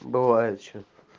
бывает что